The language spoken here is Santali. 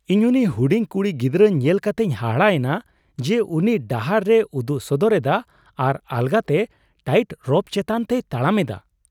ᱤᱧ ᱩᱱᱤ ᱦᱩᱰᱤᱧ ᱠᱩᱲᱤ ᱜᱤᱫᱽᱨᱟᱹ, ᱧᱮᱞ ᱠᱟᱛᱮᱧ ᱦᱟᱦᱟᱲᱟᱜ ᱮᱱᱟ ᱡᱮ ᱩᱱᱤ ᱰᱟᱦᱟᱨ ᱨᱮᱭ ᱩᱫᱩᱜ ᱥᱚᱫᱚᱨ ᱮᱫᱟ ᱟᱨ ᱟᱞᱜᱟᱛᱮ ᱴᱟᱭᱤᱴ ᱨᱳᱯ ᱪᱮᱛᱟᱱ ᱛᱮᱭ ᱛᱟᱲᱟᱢ ᱮᱫᱟ ᱾